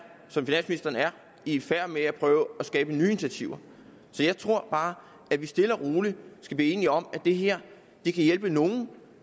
i færd med at prøve at skabe nye initiativer jeg tror bare at vi stille og roligt skal blive enige om at det her kan hjælpe nogle